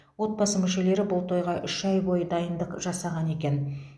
отбасы мүшелері бұл тойға үш ай бойы дайындық жасаған екен